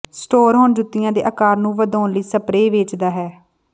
store ਹੁਣ ਜੁੱਤੀਆਂ ਦੇ ਆਕਾਰ ਨੂੰ ਵਧਾਉਣ ਲਈ ਸਪਰੇਅ ਵੇਚਦਾ ਹੈ